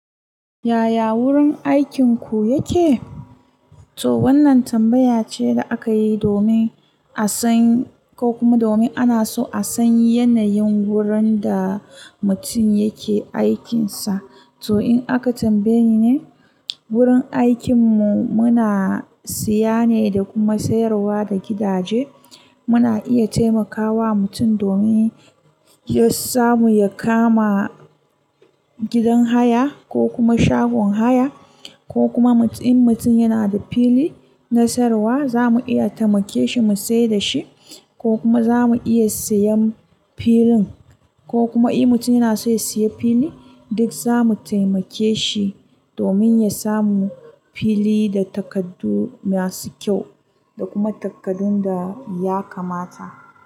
Yaya wurin aikinku yake? To wannan tambaya ce da aka yi domin a san ko kuma domin ana so a san yanayin wurin da mutum yake aikinsa. To in aka tambaye ni ne, wurin aikinmu muna siya ne da kuma sayarwa da gidaje. Muna iya taimakawa mutum domin ya samu ya kama gidan haya ko kuma shagon haya ko kuma in mutum yanada fili na siyarwa, zamu iya temake shi musiyar dashi ko kuma zamu iya siyan filin. Ko kuma in mutum yana so ya siya fili duk za mu taimake shi domin ya samu fili da takardu masu kyau da kuma takardun da ya kamata.